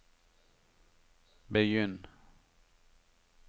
begynn